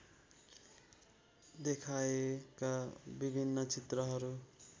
देखाएका विभिन्न चित्रहरू